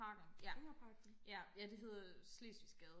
Enghave Parken